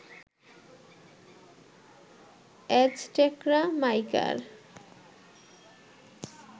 অ্যাজটেকরা মাইকার